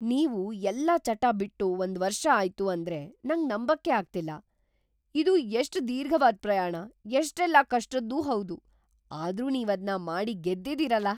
ನೀವು ಎಲ್ಲ ಚಟ ಬಿಟ್ಟು ಒಂದ್‌ ವರ್ಷ ಆಯ್ತು ಅಂದ್ರೆ ನಂಗ್ ನಂಬಕ್ಕೇ ಆಗ್ತಿಲ್ಲ! ಇದು ಎಷ್ಟ್‌ ದೀರ್ಘವಾದ್‌ ಪ್ರಯಾಣ, ಎಷ್ಟೆಲ್ಲ ಕಷ್ಟದ್ದೂ ಹೌದು.. ಆದ್ರೂ ನೀವದ್ನ ಮಾಡಿ ಗೆದ್ದಿದೀರಲ!